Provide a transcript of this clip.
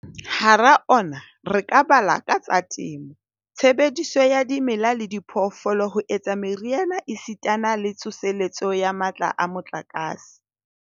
Hara ona re ka bala a tsa temo, tshebediso ya dimela le diphoofolo ho etsa meriana esitana le tsoseletso ya matla a motlakase.